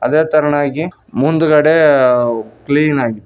ಅದೇ ತೇರನಾಗಿ ಮುಂದಗಡೆ ಕ್ಲೀನ್ ಆಗಿದೆ.